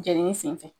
Jenini senfɛ